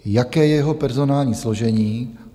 Jaké je jeho personální složení?